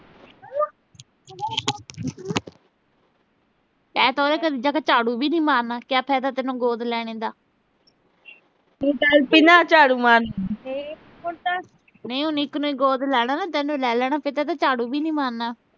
ਤੈਂ ਤਾਂ ਉਹਦੇ ਘਰ ਜਾ ਕੇ ਝਾੜੂ ਵੀ ਨੀਂ ਮਾਰਨਾ, ਕਿਆ ਫਾਇਦਾ ਤੈਨੂੰ ਗੋਦ ਲੈਣੇ ਦਾ। ਨਈਂ ਉਹਨੇ ਇੱਕ ਨੂੰ ਗੋਦ ਲੈਣਾ ਨਾ, ਤੈਨੂੰ ਲੈ ਲੈਣਾ, ਫਿਰ ਤੈਂ ਝਾੜੂ ਵੀ ਨੀਂ ਮਾਰਨਾ।